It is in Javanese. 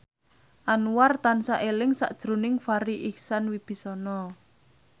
Anwar tansah eling sakjroning Farri Icksan Wibisana